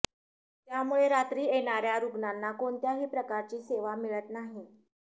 त्यामुळे रात्री येणार्या रुग्णांना कोणत्याही प्रकारची सेवा मिळत नाही